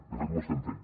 de fet ho estem fent